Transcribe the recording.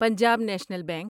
Punjab National bank